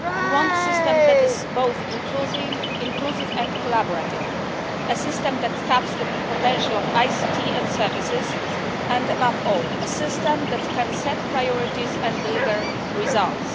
We want a system that is both inclusive and collaborative, a system that taps the potential of ICT and services and, above all, a system that can set priorities and deliver results.